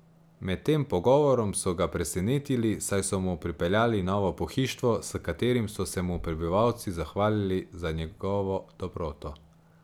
Med tem pogovorom so ga presenetili, saj so mu pripeljali novo pohištvo, s katerim so se mu prebivalci zahvalili za njegovo dobroto.